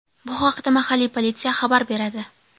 Bu haqda mahalliy politsiya xabar beradi .